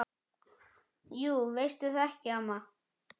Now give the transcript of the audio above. Jú veistu það ekki, amma?